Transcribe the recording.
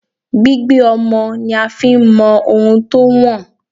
Gbígbé ọmọ ni a fi ń mọ ohun tó wọ̀n.